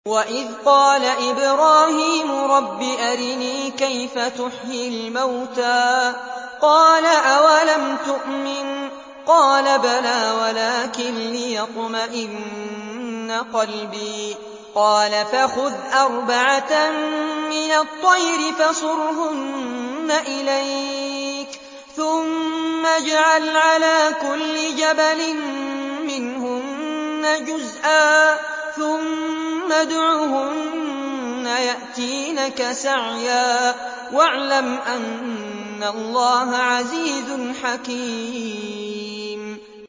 وَإِذْ قَالَ إِبْرَاهِيمُ رَبِّ أَرِنِي كَيْفَ تُحْيِي الْمَوْتَىٰ ۖ قَالَ أَوَلَمْ تُؤْمِن ۖ قَالَ بَلَىٰ وَلَٰكِن لِّيَطْمَئِنَّ قَلْبِي ۖ قَالَ فَخُذْ أَرْبَعَةً مِّنَ الطَّيْرِ فَصُرْهُنَّ إِلَيْكَ ثُمَّ اجْعَلْ عَلَىٰ كُلِّ جَبَلٍ مِّنْهُنَّ جُزْءًا ثُمَّ ادْعُهُنَّ يَأْتِينَكَ سَعْيًا ۚ وَاعْلَمْ أَنَّ اللَّهَ عَزِيزٌ حَكِيمٌ